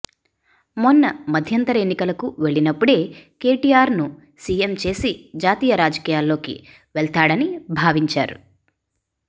మొన్న మధ్యంతర ఎన్నికలకు వెళ్లినప్పుడే కేటీఆర్ను సీఎం చేసి జాతీయ రాజకీయాల్లోకి వెళ్తాడని భావించారు